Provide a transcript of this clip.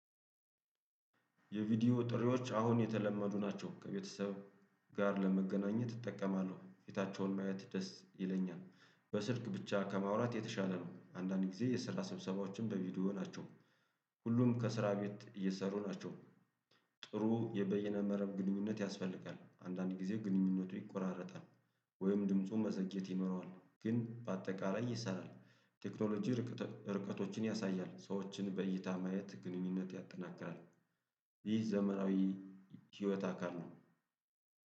የቪዲዮ ጥሪዎች አሁን የተለመዱ ናቸው ከቤተሰብ ጋር ለመገናኘት እጠቀማለሁ ፊታቸውን ማየት ደስ ይለኛል። በስልክ ብቻ ከማውራት የተሻለ ነው። አንዳንድ ጊዜ የስራ ስብሰባዎችን በቪዲዮ ናቸው። ሁሉም ከስራ ቤት እየሰሩ ናቸው። ጥሩ የበየነ መረብ ግኑኝነት ያስፈልጋል አንዳንድ ጊዜ ግንኙነቱ ይቆራረጣል። ወይም ድምፁን መዘግየት ይኖረዋል ግን በአጠቃላይ ይሰራል። ቴክኖሎጂ ርቀቶችን ያሳያል ሰዎችን በእይታ ማየት ግንኙነት ያጠናክራል። ይህ ዘመናዊ ህይወት አካል ነው